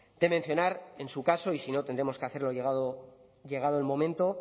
de mencionar en su caso y si no tendremos que hacerlo llegado el momento